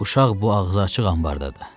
Uşaq bu ağzı açıq anbarda idi.